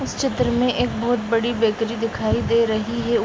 इस चित्र में एक बहुत बड़ी बेकरी दिखाई दे रही है।